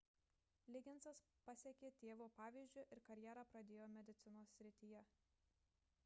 ligginsas pasekė tėvo pavyzdžiu ir karjerą pradėjo medicinos srityje